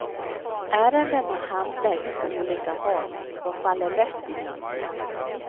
Ärendena handläggs på olika håll och faller lätt i glömska.